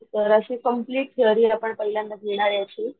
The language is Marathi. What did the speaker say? तर अशी कंप्लेंट थेरी आपण पहिल्यांदा घेणार याची